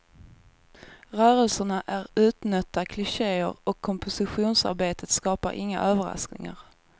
Rörelserna är utnötta klicheer och kompositionsarbetet skapar inga överraskningar.